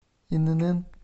инн